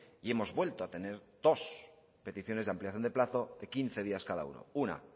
y hemos vuelto a tener dos peticiones de ampliación de plazo de quince días cada uno una